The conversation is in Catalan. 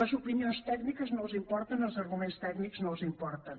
les opinions tècniques no els importen els arguments tècnics no els importen